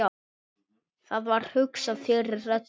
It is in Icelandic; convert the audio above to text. Það var hugsað fyrir öllu.